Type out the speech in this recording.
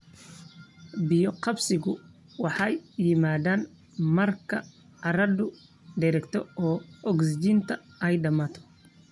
Biyo-qabsigu waxay yimaaddaan marka carradu dheregto oo ogsijiinta ay dhammaato.